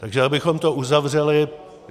Takže abychom to uzavřeli.